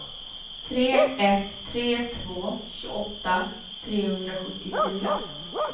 tre ett tre två tjugoåtta trehundrasjuttiofyra